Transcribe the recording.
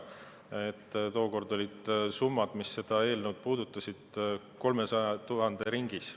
Tookord olid summad, mis seda eelnõu puudutasid, 300 000 ringis.